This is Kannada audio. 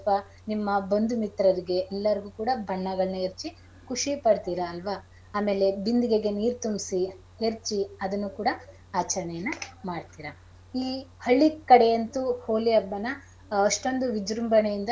ನಿಮ್ಮ ಬಂಧು ಮಿತ್ರರಿಗೆ ಎಲ್ಲರಿಗೂ ಕೂಡ ಬಣ್ಣಗಳನ್ನ ಎರ್ಚಿ ಖುಷಿ ಪಡ್ತೀರಾ ಅಲ್ವಾ ಆಮೇಲೆ ಬಿಂದಿಗೆಗೆ ನೀರ್ ತುಂಬ್ಸಿ ಎರ್ಚಿ ಅದನ್ನು ಕೂಡ ಆಚರಣೆಯನ್ನ ಮಾಡ್ತೀರ. ಈ ಹಳ್ಳಿ ಕಡೆ ಅಂತೂ ಹೋಳಿ ಹಬ್ಬನಾ ಅಷ್ಟೊಂದು ವಿಜೃಂಭಣೆಯಿಂದ.